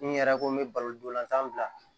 N yɛrɛ ko n bɛ balonton bila